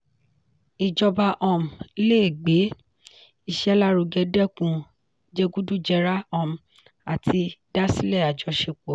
ìjọba um lè gbé iṣẹ́ lárugẹ dẹ́kun jẹgúdújẹrá um àti dásilẹ̀ àjọṣepọ̀.